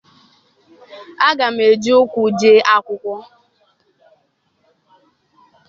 Aga m eji ụkwụ jee akwụkwọ